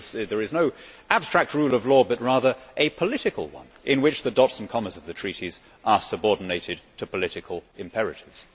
there is no abstract rule of law but rather a political one in which the dots and commas of the Treaties are subordinated to political imperatives.